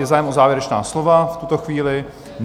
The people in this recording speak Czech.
Je zájem o závěrečná slova v tuto chvíli?